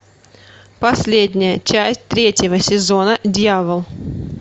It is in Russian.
последняя часть третьего сезона дьявол